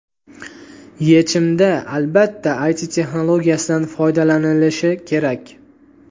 Yechimda, albatta, IT texnologiyasidan foydalanilishi kerak.